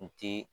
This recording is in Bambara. N ti